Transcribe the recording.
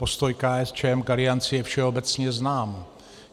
Postoj KSČM k Alianci je všeobecně znám.